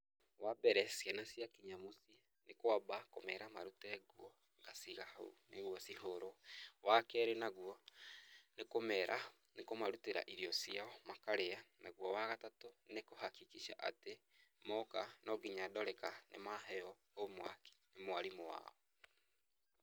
Wa mbere, ciana ciakinya mũciĩ nĩ kwamba kũmeera marute nguo nĩguo ngaciiga hau nĩguo cihũũrwo. Wa keerĩ naguo nĩ kũmarutĩra irio ciao makarĩa. Naguo wa gatatũ, nĩ kũhakikisha atĩ, mooka no nginya ndore ka nĩ maheo homework nĩ mwarimũ wao.